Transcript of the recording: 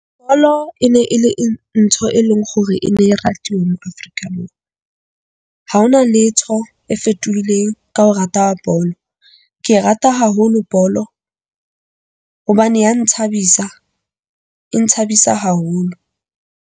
Bolo e ne e le ntho e leng hore e ne rate mo Afrika . Ha hona letho e fetohileng ka ho rata wa bolo. Ke e rata haholo bolo hobane ya nthabisa, e nthabisa haholo.